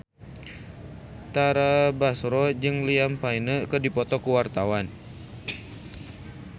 Tara Basro jeung Liam Payne keur dipoto ku wartawan